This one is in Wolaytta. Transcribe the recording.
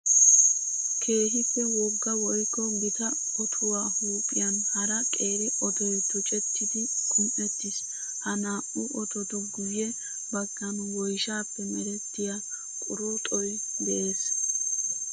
Keehippe wogga woykko gita ottuwa huuphiyan hara qeeri ottoy tuccettiddi qumi'ettis. Haa naa'u ottotu guye bagan woyshshappe merettiya quruxxoy de'ees.